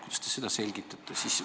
Kuidas te seda selgitate?